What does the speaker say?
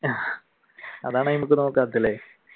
അതാണ് നോക്കാത്തതല്ലേ